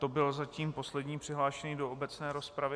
To byl zatím poslední přihlášený do obecné rozpravy.